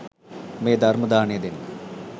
මේ ධර්ම දානය දෙන්න